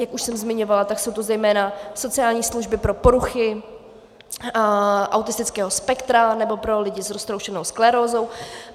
Jak už jsem zmiňovala, tak jsou to zejména sociální služby pro poruchy autistického spektra nebo pro lidi s roztroušenou sklerózou.